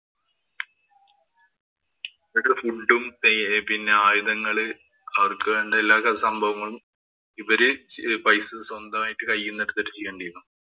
ഇവരുടെ food ഉം പിന്നെ ആയുധങ്ങള് അവര്‍ക്ക് വേണ്ടുന്ന എല്ലാ സംഭവങ്ങളും ഇവര് പൈസ സ്വന്തമായിട്ട് കൈയീന്ന് എടുത്തിട്ടു ചെയ്യേണ്ടിയിരുന്നു.